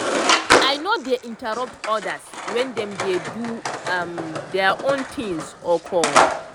i no dey interrupt others wen dem dey do um their own thingsor calls.